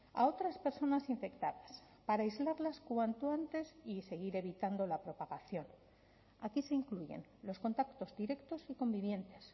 a otras personas infectadas para aislarlas cuanto antes y seguir evitando la propagación aquí se incluyen los contactos directos y convivientes